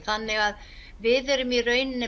þannig að við erum í rauninni